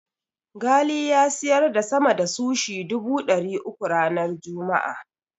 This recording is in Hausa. Ghali ya siyar da sama da sushi dubu ɗari uku ranar Juma'a.